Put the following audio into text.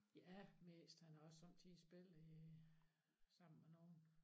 Ja mest han ahr også sommetider spillet i sammen med nogen